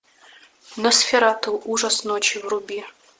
носферату ужас ночи вруби